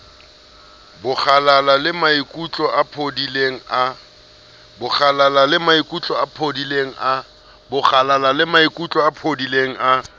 bokgalala lemaikutlo a phodileng a